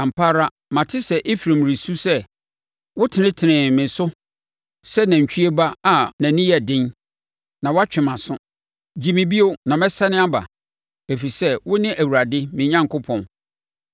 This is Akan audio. “Ampa ara mate sɛ Efraim resu sɛ, ‘Wotenetenee me so sɛ nantwie ba a nʼani yɛ den, na woatwe me mʼaso. Gye me bio, na mɛsane aba, ɛfiri sɛ wo ne Awurade, me Onyankopɔn.